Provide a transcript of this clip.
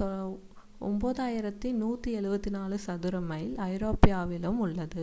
9,174 சதுர மைல் ஐரோப்பாவிலும் உள்ளன